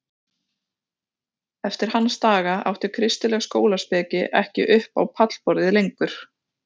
Eftir hans daga átti kristileg skólaspeki ekki upp á pallborðið lengur.